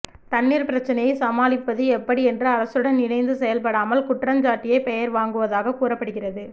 தண்ணீர் பிரச்சனையை சமாளிப்பது எப்படி என்று அரசுடன் இணைந்து செயல்படாமல் குற்றஞ்சாட்டியே பெயர் வாங்குவதாக கூறப்படுகிறது